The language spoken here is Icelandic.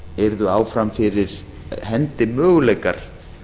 yrðu áfram fyrir hendi möguleikar